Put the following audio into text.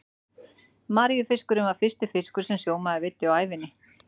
Maríufiskurinn var fyrsti fiskur sem sjómaður veiddi á ævinni.